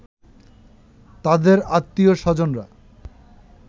তাদের আত্নীয়-স্বজনরা